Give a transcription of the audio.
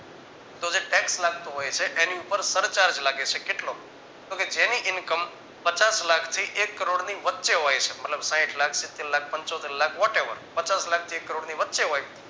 તો જે tax લાગતો હોય છે એની ઉપર સરચાર્જ લાગે છે કેટલો તો કે જેની income પચાસ લાખ થી એક કરોડની વચ્ચે હોય છે મતલબ સાહીઠ લાખ સીતેરલાખ પંચોતેરલાખ whatever પચાસ લાખથી એક કરોડ ની વચ્ચે હોય